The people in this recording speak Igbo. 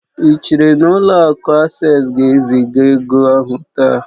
Ị chere na ụlọ akụ Asés ga-eziga ego ahụ taa?